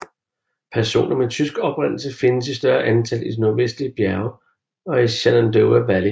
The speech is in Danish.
Personer med tysk oprindelse findes i større antal i de nordvestlige bjerge og i Shenandoah Valley